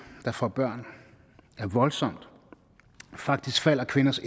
der får børn er voldsomt faktisk falder kvinders